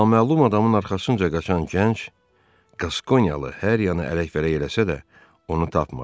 Naməlum adamın arxasınca qaçan gənc Kaskonyalı hər yanı ələk-vələk eləsə də, onu tapmadı.